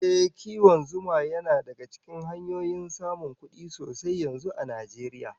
Ehh, kiwon zuma yana daga cikin hanyoyin samun kudi sosai yanzu a duniya